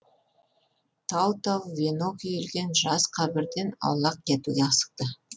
тау тау венок үйілген жас қабірден аулақ кетуге асықты